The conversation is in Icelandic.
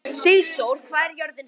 Sigþóra, hvað er jörðin stór?